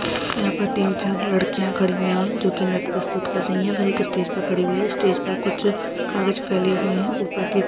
यहां पर तीन-चार लड़कियाँ खड़ी हुयी हैं जो नृत्य प्रस्तुत कर रही हैं वह एक स्टेज पर खड़ी हुयी हैं स्टेज पर कुछ कागज फैले हुए हैं ऊपर की तरफ--